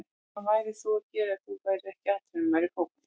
Hvað værir þú að gera ef þú værir ekki atvinnumaður í fótbolta?